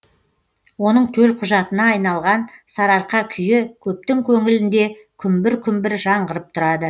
оның төлқұжатына айналған сарыарқа күйі көптің көңілінде күмбір күмбір жаңғырып тұрады